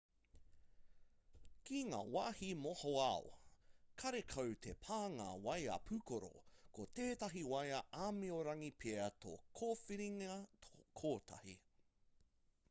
ki ngā wāhi mohoao karekau te pānga waea pūkoro ko tētahi waea āmiorangi pea tō kōwhiringa kotahi